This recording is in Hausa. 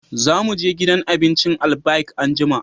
Za mu je gidan abincin Albaik anjima